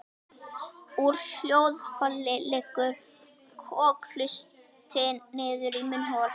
Úr hljóðholi liggur kokhlustin niður í munnhol.